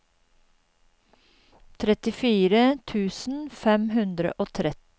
trettifire tusen fem hundre og tretti